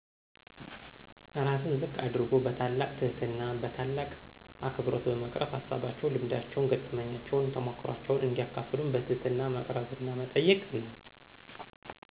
ራስን ዝቅ አድርጎ በታላቅ ትህትና በታላቅ አክብሮ በመቅረብ ሀሳባቸውን፣ ልምዳቸውን፣ ገጠመኛቸውን፣ ተሞክሯቸውን እንዲያካፍሉን በትህትና መቅረብና መጠየቅ ነው።